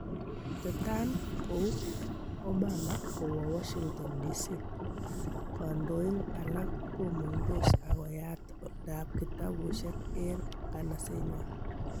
Tetan kou Obama kowo Washington Dc ,kondoing alak komung' dos agoyat oldab kitabushek en ng'anasenywan.